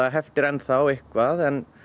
heftir enn þá eitthvað en